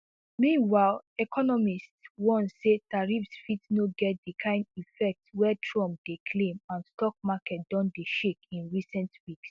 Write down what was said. meanwhile economists warn say tariffs fit no get di kain effect wey trump dey claim and stock markets don dey shake in recent weeks